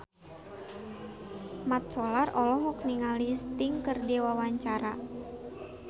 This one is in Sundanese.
Mat Solar olohok ningali Sting keur diwawancara